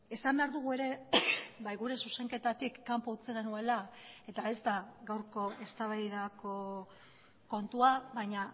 esan behar dugu ere bai gure zuzenketatik kanpo utzi genuela eta ez da gaurko eztabaidako kontua baina